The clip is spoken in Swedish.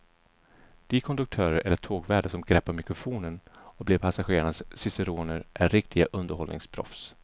De konduktörer eller tågvärdar som greppar mikrofonen och blir passagerarnas ciceroner är riktiga underhållningsproffs.